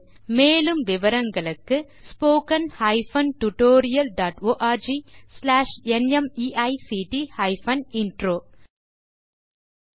மேலும் விவரங்களுக்கு spoken hyphen tutorial dot org slash NMEICT hyphen intro மூல பாடம் தேசி க்ரூ சொலூஷன்ஸ்